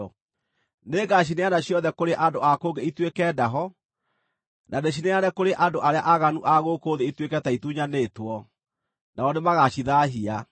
Nĩngacineana ciothe kũrĩ andũ a kũngĩ ituĩke ndaho, na ndĩcineane kũrĩ andũ arĩa aaganu a gũkũ thĩ ituĩke ta itunyanĩtwo, nao nĩmagacithaahia.